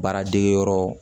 Baara degeyɔrɔ